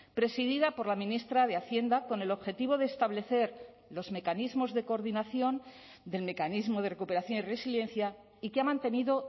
presidida por la ministra de hacienda con el objetivo de establecer los mecanismos de coordinación del mecanismo de recuperación y resiliencia y que ha mantenido